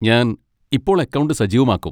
ഞാൻ ഇപ്പോൾ അക്കൗണ്ട് സജീവമാക്കും.